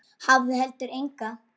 Hafði heldur enga.